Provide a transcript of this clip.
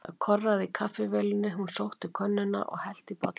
Það korraði í kaffivélinni, hún sótti könnuna og hellti í bollana.